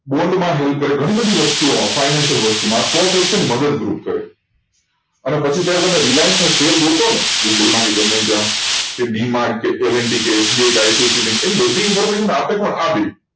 bond માં જવું પડે ઘણી બધી વસ્તુઓ હોય financial વસ્તુ માં stock exchange મદદ રૂપ કરે અને પછી તમે reliance નો શેર ગોઠો ને કે D Mart કે LNT કે એની બધી information